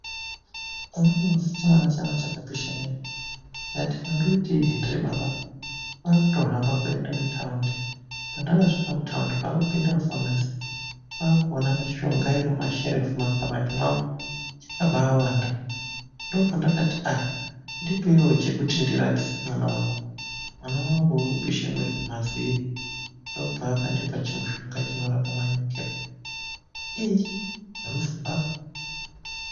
Umweni musi chisikana changu chakapisha mwiri, ndikati ndinoiteyi hendiri baba, kwaakutohambe kuenda kuthaundi. Pandakapinda muthaundi kwaakupinde mufamasi, kwaakuone mishonga iri mumasherefu mumakabati iri mumasherefu ayo, akabawanda, ndipo pandati ndipeiwo chekuti ndirapise mwana wangu. Mwana wangu unopishe mwiiri. Ndopavakandipa chimushonga chinorape manyukira. Iiii zvemuZimbabwe!